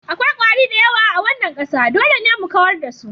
Akwai kwari da yawa a wannan ƙasa, dole ne mu kawar da su.